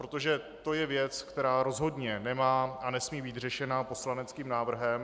Protože to je věc, která rozhodně nemá a nesmí být řešena poslaneckým návrhem.